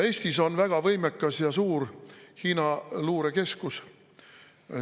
Eestis on väga võimekas ja suur Hiina luurekeskus.